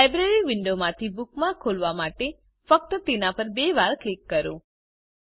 library વિન્ડોમાંથી bookmark ખોલવા માટે ફક્ત તેના પર બે વાર ક્લિક કરો